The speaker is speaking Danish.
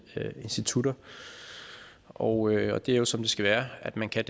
institutter og det er jo som det skal være at man kan